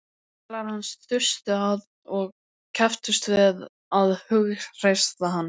Félagar hans þustu að og kepptust við að hughreysta hann.